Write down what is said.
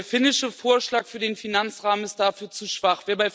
Der finnische Vorschlag für den Finanzrahmen ist dafür zu schwach.